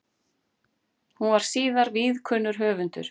Hún varð síðar víðkunnur höfundur.